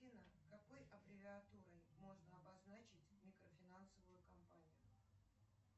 афина какой аббревиатурой можно обозначить микрофинансовую компанию